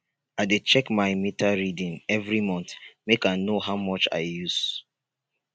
i dey check my meter reading every month make i know how much i use